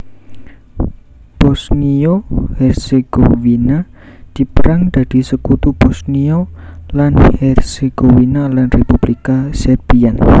Bosniya Hércegowina diperang dadi Sekutu Bosniya lan Hércegowina lan Republika Sêrbiyan